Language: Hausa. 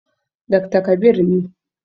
Dakta Kabir ne.